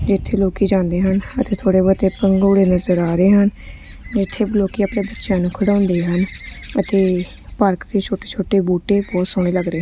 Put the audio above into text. ਇੱਥੇ ਲੋਕੀ ਜਾਂਦੇ ਹਨ ਅਤੇ ਥੋੜ੍ਹੇ ਬਹੁਤੇ ਭੰਗੌੜੇ ਨਜ਼ਰ ਆ ਰਹੇ ਹਨ ਇੱਥੇ ਲੋਕੀ ਅਪਨੇ ਬੱਚਿਆਂ ਨੂੰ ਖਿਡਾਉਂਦੇ ਹਨ ਅਤੇ ਪਾਰਕ ਤੇ ਛੋਟੇ ਛੋਟੇ ਬੂਟੇ ਬਹੁਤ ਸੋਹਣੇ ਲੱਗ ਰਹੇ--